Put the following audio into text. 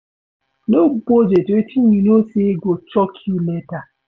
No budget wetin you know sey go choke you later